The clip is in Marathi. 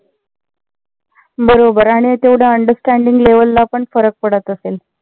बरोबर आणि तेवढ understanding level ला पण फरक पडत असेल.